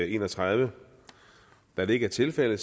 31 da det ikke er tilfældet